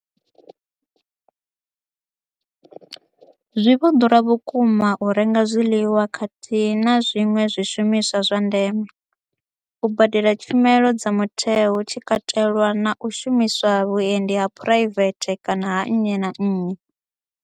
Zwi vho ḓura vhukuma u renga zwiḽiwa khathihi na zwiṅwe zwishumiswa zwa ndeme, u badela tshumelo dza mutheo hu tshi katelwa na u shumisa vhuendi ha phuraivethe kana ha nnyi na nnyi.